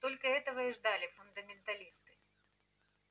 только этого и ждали фундаменталисты